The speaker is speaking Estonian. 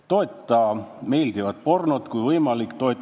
Toeta meeldivat pornot, kui võimalik!